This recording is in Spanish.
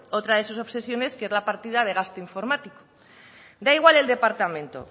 otra de sus obsesiones que es la partida de gasto informático da igual el departamento